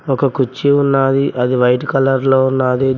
ఒక కుర్చీ ఉన్నాది అది వైట్ కలర్ లో ఉన్నాది.